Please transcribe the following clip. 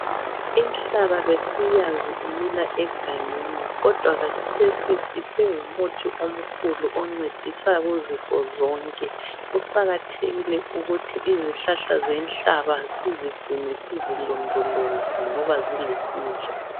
Inhlaba besiyazi imila egangeni kodwa khathesi isingumuthi omkhulu oncedisa kuzifo zonke. Kuqakathekile ukuthi izihlahla zenhlaba sizigcine sizilondoloze ngoba zilusizo.